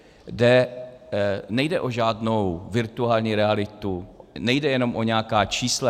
Nejde o žádnou virtuální realitu, nejde jenom o nějaká čísla.